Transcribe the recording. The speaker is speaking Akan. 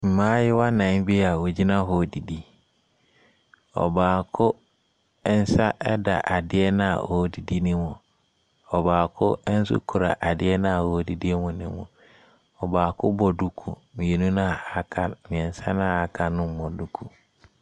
Mmaayewa nan bi a wɔgyina hɔ redidi. Ɔbaako nsa da adeɛ no a ɔredidi no mu. Ɔbaako nso kura adeɛ no a ɔredidi no mu. Ɔbaako bɔ duku. Mmienu no aka no mmiɛnsa no aka no mmɔ duku.